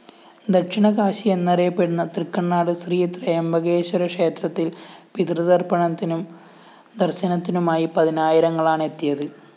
ദക്ഷിണകാശി എന്നറിയപ്പെടുന്ന തൃക്കണ്ണാട് ശ്രീ ത്രയംബകേശ്വരക്ഷേത്രത്തില്‍ പിതൃതര്‍പ്പണത്തിനും ദര്‍ശനത്തിനുമായി പതിനായിരങ്ങളാണെത്തിയത്